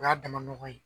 O y'a dama nɔgɔ ye